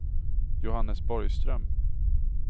Johannes Borgström